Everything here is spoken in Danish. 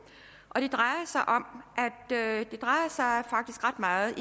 og det drejer sig faktisk ret meget